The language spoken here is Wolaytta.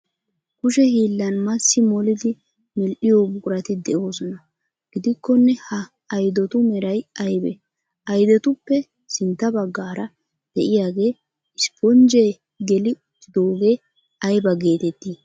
Kushe hiillan massi molidi medhdhiyo buqurati de'oosona gidikkonne ha aydotu meray aybee? Oydetuppe sintta baggaara de'iyagee isponjjee geli uttidoogee aybaa geetettii?